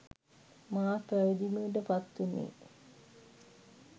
මා පැවිදි බිමට පත් වුණේ